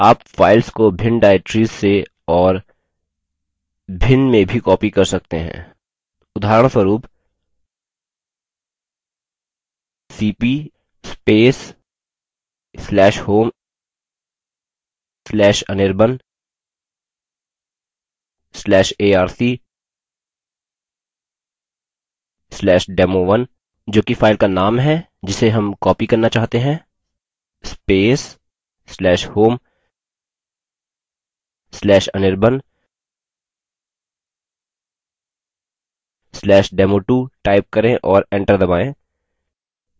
आप files को भिन्न directories से और भिन्न में भी copy कर सकते हैं उदाहरणस्वरूप $cp/home/anirban/arc/demo1 जो कि files का नाम है जिसे हम copy करना चाहते हैं/home/anirban/demo2 टाइप करें और एंटर दबायें